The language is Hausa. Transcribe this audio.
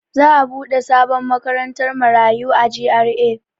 Za'a buɗe sabon makarantar marayu a G.R.A.